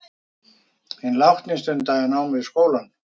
Hinn látni stundaði nám við skólann